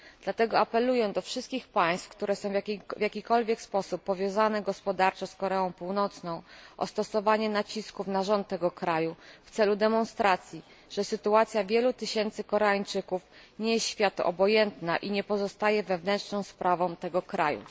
Dlatego apeluję do wszystkich państw, które są w jakikolwiek sposób powiązane gospodarczo z Koreą Północną, o stosowanie nacisków na rząd tego kraju w celu demonstracji, że sytuacja wielu tysięcy Koreańczyków nie jest światu obojętna i nie pozostaje wewnętrzną sprawą tego kraju.